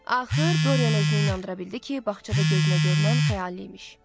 Axır Dorian özünü inandıra bildi ki, bağçada gözünə görünən xəyali imiş.